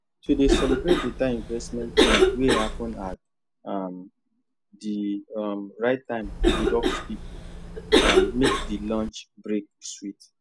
to dey celebrate better investment change wey happen at um the um right time with office people um make the lunch break sweet